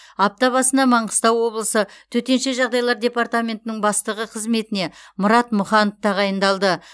апта басына маңғыстау облысы төтенше жағдайлар департаментінің бастығы қызметіне мұрат мұханов тағайындалды